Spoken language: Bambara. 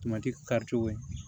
Tomati kari cogo ye